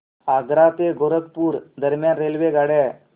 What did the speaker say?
आग्रा ते गोरखपुर दरम्यान रेल्वेगाड्या